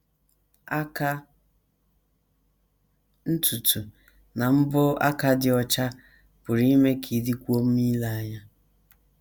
Aka, ntutu, na mbọ aka dị ọcha pụrụ ime ka ị dịkwuo mma ile anya.